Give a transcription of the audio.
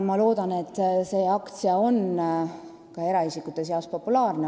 Ma loodan, et see aktsia on eraisikute seas populaarne.